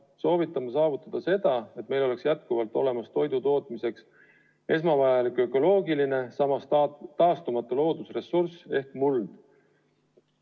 Soovitud on saavutada seda, et meil oleks edaspidigi olemas toidu tootmiseks esmavajalik ökoloogiline, samas taastumatu loodusressurss ehk muld.